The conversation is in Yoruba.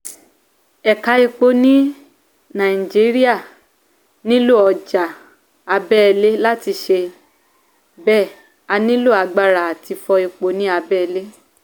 eka epo ni naijiria nílò ọjà abẹ́lé láti ṣe bẹ a nílò agbára àti fọ epo ni abẹ́lé